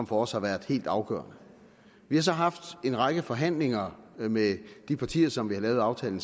for os har været helt afgørende vi har så haft en række forhandlinger med de partier som vi har lavet aftalen